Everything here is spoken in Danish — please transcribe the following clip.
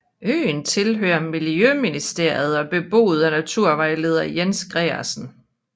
Øen tilhører Miljøministeriet og er beboet af naturvejleder Jens Gregersen